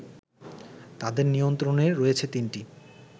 তাদের নিয়ন্ত্রণে রয়েছে তিনটি